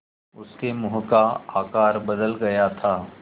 उसके मुँह का आकार बदल गया था